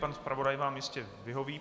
Pan zpravodaj vám jistě vyhoví.